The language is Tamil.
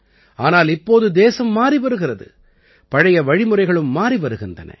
ஆனால் இப்போது தேசம் மாறி வருகிறது பழைய வழிமுறைகளும் மாறி வருகின்றன